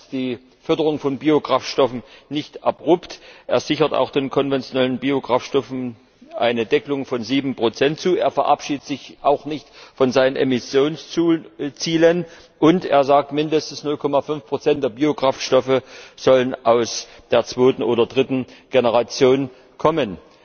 Er beendet die Förderung von Biokraftstoffen nicht abrupt, er sichert auch den konventionellen Biokraftstoffen eine Deckelung von 7 zu, er verabschiedet sich auch nicht von seinen Emissionszielen, und er sagt, mindestens 0,5 der Biokraftstoffe sollen aus der zweiten oder dritten Generation kommen.